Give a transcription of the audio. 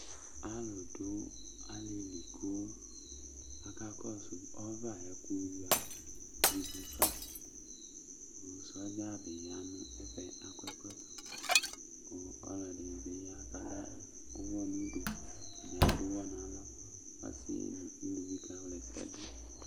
Alu du alili ku akakɔsu ɔvɛ ayu ɛku yuia ivu fa Sɔdza bi ya nu ɛfuɛ Lakɔ ɛkɔtɔ Ku ɔlɔdi bi ya ladu uwɔ nu udu ɛdi bi adu uwɔ nu alɔ Ɔsi nu uluvi kawla ɛsɛ du